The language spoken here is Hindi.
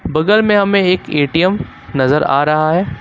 बगल में हमें एक ए_टी_एम नजर आ रहा है।